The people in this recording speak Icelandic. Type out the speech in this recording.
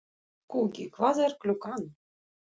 Skuggi, hvað er klukkan?